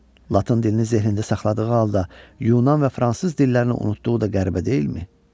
Latın dilini zehinində saxladığı halda, Yunan və fransız dillərini unutduğu da qəribə deyilmi?